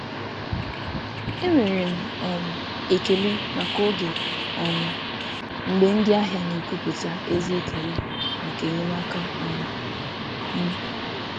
M na-enwe ekele maka oge ndị ahịa na-egosipụta ezi ekele maka enyemaka m.